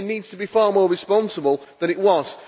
The media needs to be far more responsible than it was.